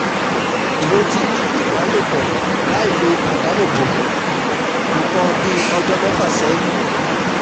mo ti ní ìbálòpọ̀ lailo idáàbòbo nǹkan bí ọjọ́ mẹ́fà sẹ́yìn